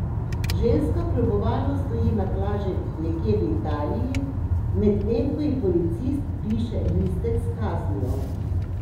Ženska kljubovalno stoji na plaži nekje v Italiji, medtem ko ji policist piše listek s kaznijo.